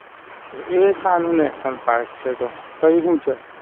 એ સૌમ્ય National Park છે એ તે હું છે?